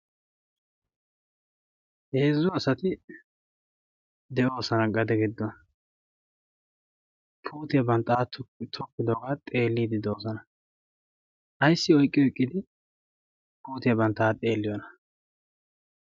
heezzu asati de7oosana gade giddo kootiyaa banttaaa tokkidoogaa xeelliidi doosana aissi oiqqiyo eqqidi kootiyaa banttaa xeelliyoona?